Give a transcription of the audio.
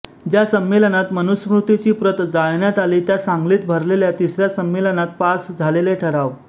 ज्या संमेलनात मनुस्मृतीची प्रत जाळण्यात आली त्या सांगलीत भरलेल्या तिसऱ्या संमेलनात पास झालेले ठराव